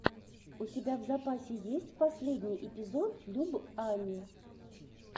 у тебя в запасе есть последний эпизод люб ани